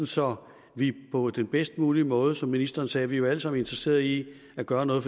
så vi på den bedst mulige måde som ministeren sagde er vi jo alle sammen interesserede i at gøre noget